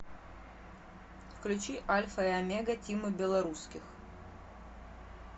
включи альфа и омега тимы белорусских